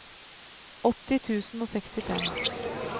åtti tusen og sekstifem